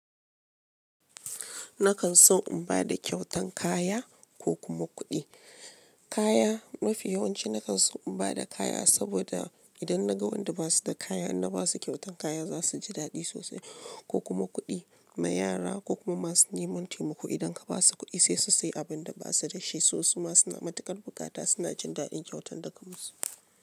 Nakan so in ba da kyautan kaya ko kuma kuɗi. Kaya, mafi yawanci nakan so in ba da kaya saboda idan naga wanda ba su da kaya, in na ba su kyautan kaya za su ji daɗi sosai ko kuma kuɗi ma yara ko kuma masu neman taimako idan ka ba su kuɗi sai su sayi abin da ba su da shi sosai. Masu matuƙar bukata suna jin daɗin kyautan daga musu.